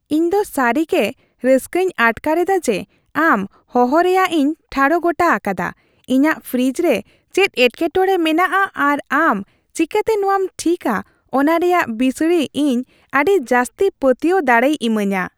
ᱤᱧ ᱫᱚ ᱥᱟᱹᱨᱤᱜᱮ ᱨᱟᱹᱥᱠᱟᱹᱧ ᱟᱴᱠᱟᱨ ᱮᱫᱟ ᱡᱮ ᱟᱢ ᱦᱚᱦᱚ ᱨᱮᱭᱟᱜ ᱤᱧ ᱴᱷᱟᱲᱚ ᱜᱚᱴᱟ ᱟᱠᱟᱫᱟᱼ ᱤᱧᱟᱹᱜ ᱯᱷᱨᱤᱡ ᱨᱮ ᱪᱮᱫ ᱮᱴᱠᱮᱴᱚᱲᱮ ᱢᱮᱱᱟᱜᱼᱟ ᱟᱨ ᱟᱢ ᱪᱤᱠᱟᱹᱛᱮ ᱱᱚᱶᱟᱢ ᱴᱷᱤᱠᱟ ᱚᱱᱟ ᱨᱮᱭᱟᱜ ᱵᱤᱥᱲᱤ ᱤᱧ ᱟᱹᱰᱤ ᱡᱟᱹᱥᱛᱤ ᱯᱟᱹᱛᱭᱟᱹᱣ ᱫᱟᱲᱮᱭ ᱤᱢᱟᱹᱧᱟ ᱾